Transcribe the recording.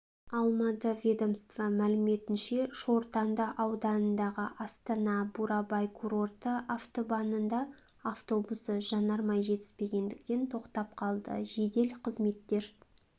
алмады ведомство мәліметінше шортанды ауданындағы астана-бурабай курорты автобанында автобусы жанармай жетіспегендіктен тоқтап қалды жедел қызметтер